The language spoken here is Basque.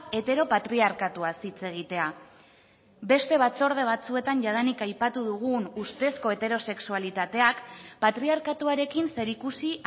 heteropatriarkatuaz hitz egitea beste batzorde batzuetan jadanik aipatu dugun ustezko heterosexualitateak patriarkatuarekin zer ikusi